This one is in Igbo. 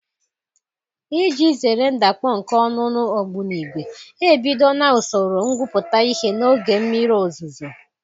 Iji zere ndakpọ nke olulu ogbunigwe, ebidola usoro ngwuputa ihe n'oge mmiri ozuzo.